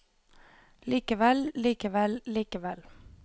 likevel likevel likevel